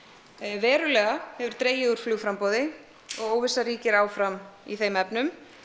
verulega hefur dregið úr og óvissa ríkir áfram í þeim efnum